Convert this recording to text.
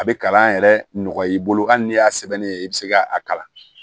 A bɛ kalan yɛrɛ nɔgɔya i bolo hali n'i y'a sɛbɛnni ye i bɛ se ka a kalan